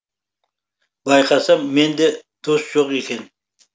байқасам менде дос жоқ екен